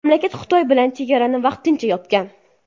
Mamlakat Xitoy bilan chegarani vaqtincha yopgan.